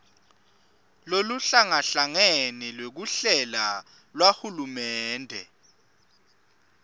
loluhlangahlangene lwekuhlela lwahulumende